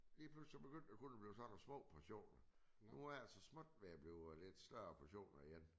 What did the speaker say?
Lige pludselig så begyndte det kun at blive sådan nogle små portioner. Nu er det så småt ved at blive lidt større portioner igen